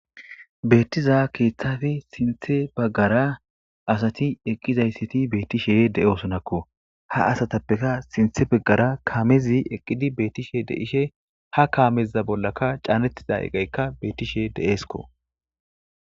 Beetiza keethappe sinththe baggara asati eqizayssati beetishe de'osonakko ha asattappe sinththe baggara kaamezi eqqidi beettishe de'ishe ha kaameza bollakka caanetida iqaykka beettishe de'esko.